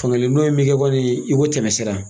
Fangelen dɔ in bɛ kɛ i komi tɛmɛsira.